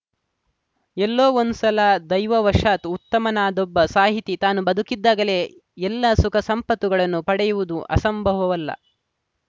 ಎಲ್ಲೋ ಒಂದು ಸಲ ದೈವವಶಾತ್‌ ಉತ್ತಮನಾದೊಬ್ಬ ಸಾಹಿತಿ ತಾನು ಬದುಕಿದ್ದಾಗಲೇ ಎಲ್ಲ ಸುಖ ಸಂಪತ್ತುಗಳನ್ನು ಪಡೆಯುವುದೂ ಅಸಂಭವವಲ್ಲ